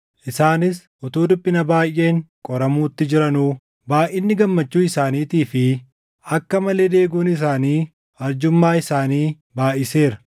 Isaanis utuu dhiphina baayʼeen qoramuutti jiranuu, baayʼinni gammachuu isaaniitii fi akka malee deeguun isaanii arjummaa isaanii baayʼiseera.